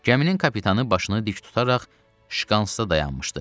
Gəminin kapitanı başını dik tutaraq şkansda dayanmışdı.